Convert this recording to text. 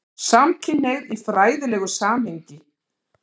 SAMKYNHNEIGÐ Í FRÆÐILEGU SAMHENGI